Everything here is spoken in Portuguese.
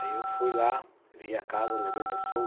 Aí eu fui lá, vim à casa, levei o meu sogro,